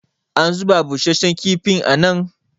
a zuba busasshen kifin nan?